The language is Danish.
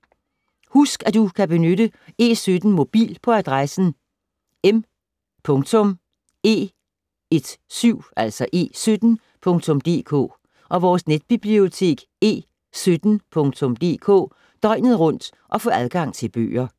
Husk at du kan benytte E17 Mobil på adressen m.e17.dk og vores netbibliotek e17.dk døgnet rundt og få adgang til bøger.